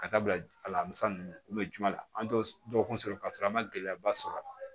Ka da bila a la musa ninnu juma la an t'o kun sɔrɔ k'a sɔrɔ an ma gɛlɛyaba sɔrɔ a la